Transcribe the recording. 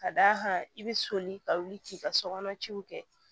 Ka d'a kan i be soli ka wuli k'i ka sokɔnɔ ciw kɛ